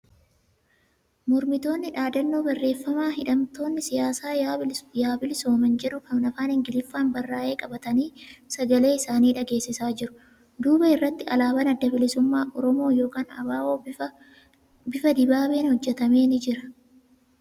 Mormitoonni dhaadannoo barreeffama ' hidhamtoonni siyaasaa yaa bilisooman' jedhu kan afaan Ingiliffaan barraa'ee qabatanii sagalee isaanii dhageessisaa jiru. Duuba irratti alaabaan Adda Bilisummaa Oromoo (ABO) bifa dibaabeen hojjatamee ni jira